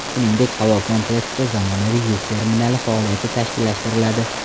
Shuningdek, havo kompleksida zamonaviy yuk terminali faoliyati tashkillashtiriladi.